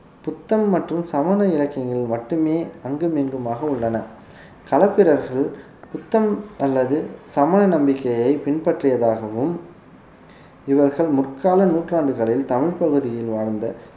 புத்தம் மற்றும் சமண இலக்கியங்களில் மட்டுமே அங்கும் இங்குமாக உள்ளன களப்பிரர்கள் புத்தம் அல்லது சமணநம்பிக்கையை பின்பற்றியதாகவும் இவர்கள் முற்கால நூற்றாண்டுகளில் தமிழ் பகுதியில் வாழ்ந்த